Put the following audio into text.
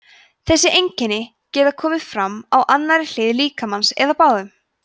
þessi einkenni geta komið fram á annarri hlið líkamans eða báðum